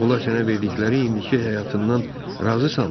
Onlar sənə verdikləri indiki həyatından razısanmı?